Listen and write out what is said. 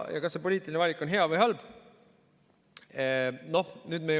Kas see poliitiline valik on hea või halb?